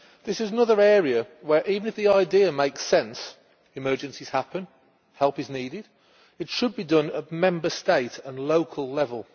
This is another area where, even if the idea makes sense emergencies happen, help is needed it should be implemented at Member State and local level.